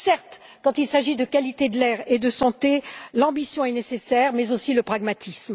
Certes, quand il s'agit de la qualité de l'air et de la santé, l'ambition est nécessaire, mais aussi le pragmatisme.